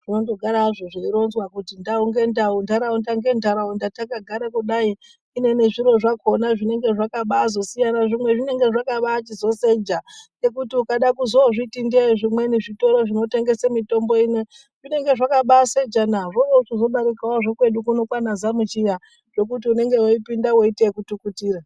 Zvinondogara hazvo zvaironzwa kuti ndau ngendau takagara kudai ,zvimweni zviro zvakona ukaona zvinenge zvakasiyana kuseja ngekuti ukada kuzozviti ndeye zvitoro zvimweni zvinotengesa mutombo ino zvinenge zvakabaasejana ,haiwa zvekwedu kunoku kana Zamuchiya zvekuti unopinde waiite kutukutira.